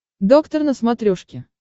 доктор на смотрешке